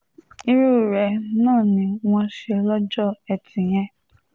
irú rẹ̀ náà ni wọ́n ṣe lọ́jọ́ etí yìí